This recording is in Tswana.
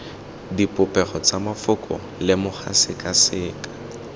dipopego tsa mafoko lemoga sekaseka